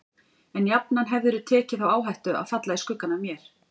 En jafnan hefðirðu tekið þá áhættu að falla í skuggann af mér.